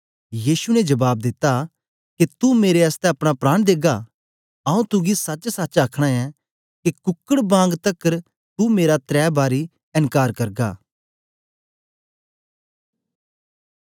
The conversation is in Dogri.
यीशु ने जबाब दिता के तू मेरे आसतै अपना प्राण देगा आऊँ तुगी सचसच आखना ऐं के कुकड बांग तकर तू मेरा तरै बारी एन्कार करगा